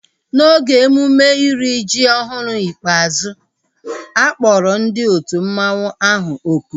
N'oge emume iri ji ọhụrụ ikpeazụ, a kpọrọ ndị otu mmanwu ahu oku